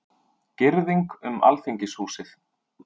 Girðing um Alþingishúsið